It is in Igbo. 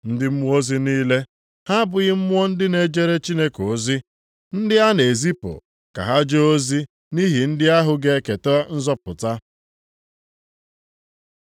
Ndị mmụọ ozi niile, ha abụghị mmụọ ndị na-ejere Chineke ozi, ndị a na-ezipụ ka ha jee ozi nʼihi ndị ahụ ga-eketa nzọpụta?